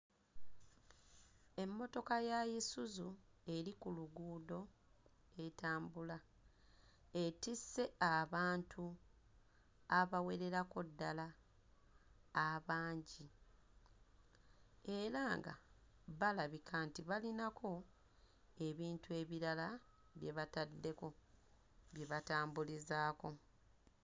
Emmotoka ya Isuzu eri ku luguudo etambula. Etisse abantu abawererako ddala abangi era nga balabika nti balinako ebintu ebirala bye bataddeko bye batambulizaako.